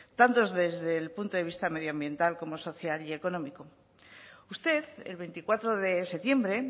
tanto desde el punto de vista medioambiental como social y económico usted el veinticuatro de septiembre